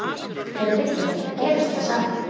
Ef rignir gerist það sama.